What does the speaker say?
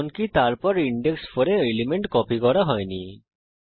এমনকি তারপর ইনডেক্স 4 এ এলিমেন্ট কপি করা হয় নি